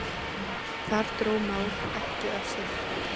Þar dró Már ekki af sér.